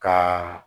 Ka